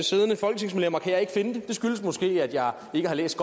siddende folketingsmedlemmer kan jeg ikke finde det det skyldes måske at jeg ikke har læst